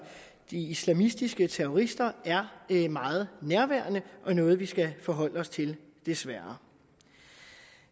de islamistiske terrorister er meget nærværende og noget vi skal forholde os til desværre